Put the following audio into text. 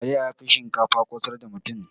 Taliya yafi shinkafa ƙosar da mutum.